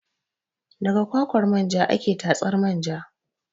Daga kwakwar manja ake tatsar manja